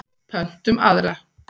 Pöntum aðra.